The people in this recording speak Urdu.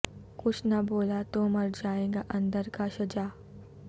کچھ نہ بولا تو مرجائے گا اندر کا شجاع